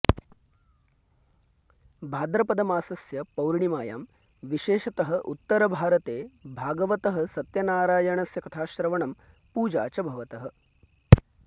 भाद्रपदमासस्य पौर्णिमायां विशेषतः उत्तरभारते भागवतः सत्यनारायणस्य कथाश्रवणं पूजा च भवतः